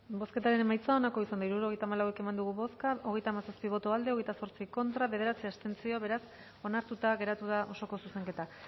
bozketaren emaitza onako izan da hirurogeita hamalau eman dugu bozka hogeita hamazazpi boto aldekoa hogeita zortzi contra bederatzi abstentzio beraz onartuta geratu da osoko zuzenketa